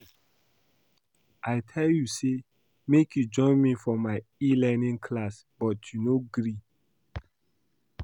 I tell you say make you join me for my e-learning class but you no gree